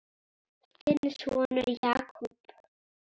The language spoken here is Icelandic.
Þinn sonur, Jakob.